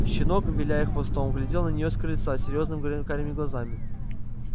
щенок виляя хвостом глядел на неё с крыльца серьёзными карими глазами